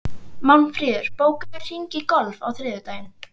Málmfríður, bókaðu hring í golf á þriðjudaginn.